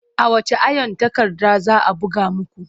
A wacce iron takarda za a buga muku?